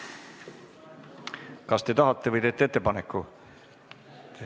Kas te tahate või teete ettepaneku?